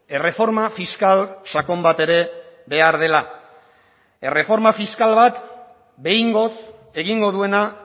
erreforma fiskal sakon bat ere behar dela erreforma fiskal bat behingoz egingo duena